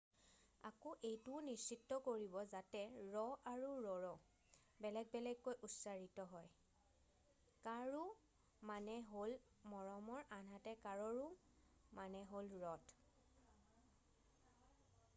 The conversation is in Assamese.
আকৌ এইটোও নিশ্চিত কৰিব যাতে ৰ' আৰু ৰৰ' বেলেগ বেলেগকৈ উচ্চাৰিত হয় কাৰো মানে হ'ল মৰমৰ আনহাতে কাৰৰো মানে হ'ল ৰথ